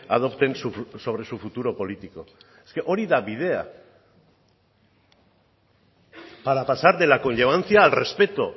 adopten sobre su futuro político hori da bidea para pasar de la conllevancia al respeto